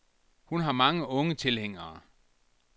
Hun har mange unge tilhængere.